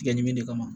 Tigɛ ɲimi de kama